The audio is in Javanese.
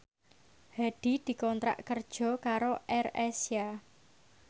Hadi dikontrak kerja karo AirAsia